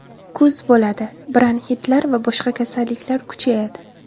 Kuz bo‘ladi, bronxitlar va boshqa kasalliklar kuchayadi.